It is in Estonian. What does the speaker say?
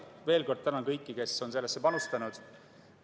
Veel kord tänan kõiki, kes on sellesse panustanud!